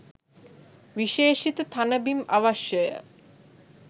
විශේෂිත තණ බිම් අවශ්‍යය